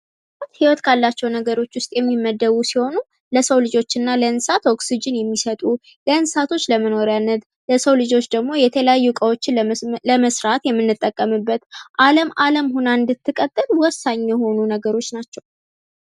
ዕጽዋት ህይወት ካላቸው ነገሮች መካከል ውስጥ የሚመደቡ ሲሆኑ ለሰው ልጆች እና ለእንስሳት ኦክስጅን የሚሰጡ ለእንስሳቶች ለመኖሪያነት ለሰው ልጆች ደግሞ የተለያዩ እቃዎችን ለመስራት የምንጠቀምበት አለም አለም ሁና እንድትቀጥል ወሳኝ የሆኑ ነገሮች ናቸው።